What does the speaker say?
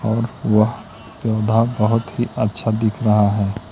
और वह पंडाल बहुत ही अच्छा दिख रहा है।